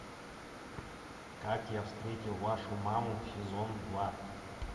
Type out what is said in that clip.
как я встретил вашу маму сезон два